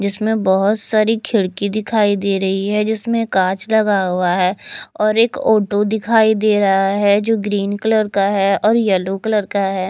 जिसमें बहोत सारी खिड़की दिखाई दे रही है जिसमें कांच लगा हुआ है और एक ऑटो दिखाई दे रहा है जो ग्रीन कलर का है और येलो कलर का है।